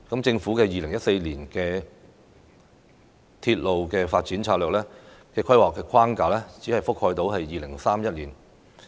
政府2014年公布的《鐵路發展策略2014》規劃框架只能覆蓋到2031年。